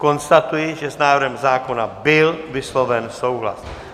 Konstatuji, že s návrhem zákona byl vysloven souhlas.